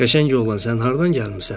Qəşəng oğlan, sən hardan gəlmisən?